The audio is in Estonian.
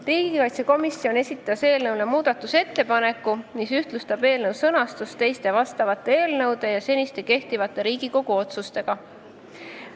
Riigikaitsekomisjon esitas muudatusettepaneku, mis ühtlustab eelnõu sõnastust teiste analoogilise sisuga eelnõude omaga.